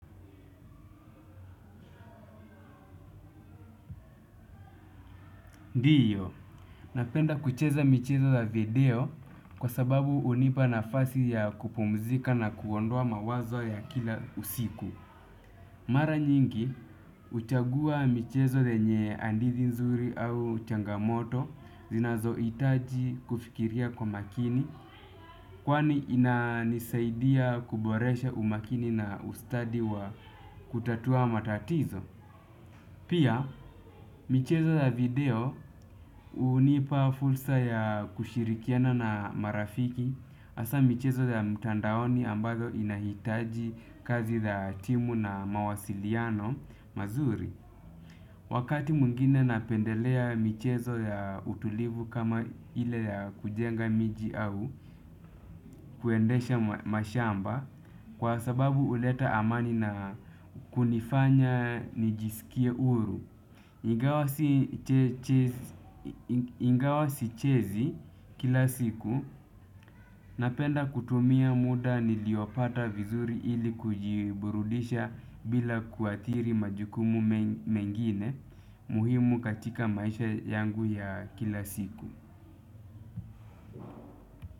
Ndiyo, napenda kucheza michezo za video kwa sababu hunipa nafasi ya kupumzika na kuondoa mawazo ya kila usiku. Mara nyingi, huchagua michezo zenye hadithi nzuri au changamoto, zinazo hitaji kufikiria kwa makini, kwani ina nisaidia kuboresha umakini na ustadi wa kutatua matatizo. Pia, michezo ya video hunipa fursa ya kushirikiana na marafiki hasa michezo ya mtandaoni ambazo inahitaji kazi za timu na mawasiliano mazuri. Wakati mwigine napendelea michezo ya utulivu kama ile ya kujenga miji au kuendesha mashamba kwa sababu huleta amani na kunifanya nijisikie huru. Ingawa sichezi kila siku, napenda kutumia muda niliopata vizuri ili kujiburudisha bila kuathiri majukumu mengine muhimu katika maisha yangu ya kila siku.